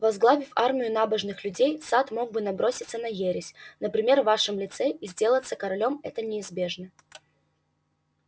возглавив армию набожных людей сатт мог бы наброситься на ересь например в вашем лице и сделаться королём это неизбежно